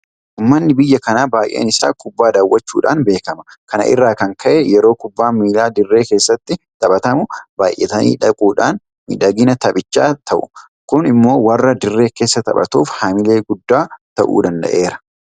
Uummanni biyya kanaa baay'een isaa kubbaa daawwachuudhaan beekama. Kana irraa kan ka'e yeroo kubbaan miilaa dirree keessatti taphatamu baay'atanii dhaquudhaan miidhagina taphichaa ta'u. Kun immoo warra dirree keessaa taphatuuf haamilee guddaa ta'uu danda'eera.